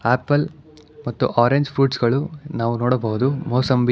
apple ಮತ್ತು orange fruits ಗಳು ನಾವು ನೋಡಬಹುದು ಮೋಸಂಬಿ --